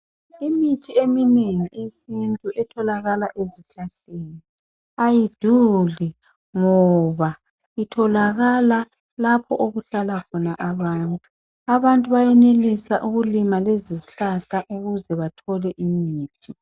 Imithi eminengi eyesintu etholakala ezihlahleni ayiduli ngoba itholakala lapho okuhlala khona abantu. Abantu bayenelisa ukulima lezi zihlahla ukuze bathole imithi.